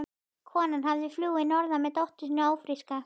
Konan hafði flúið að norðan með dóttur sína ófríska.